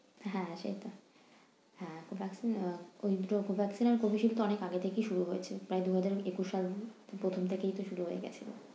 হ্যাঁ হ্যাঁ সেইটা হ্যাঁ Covaxin আহ Covaxin আর Covishield তো অনেক আগে থেকেই শুরু হয়েছে। প্রায় দুই হাজার একুশ সাল প্রথম থেকেই তো শুরু হয়ে গেছে।